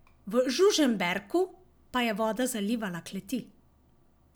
V Žužemberku pa je voda zalivala kleti.